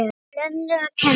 Lenu að kenna.